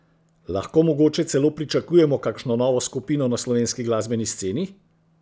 Lahko mogoče celo pričakujemo kakšno novo skupino na slovenski glasbeni sceni?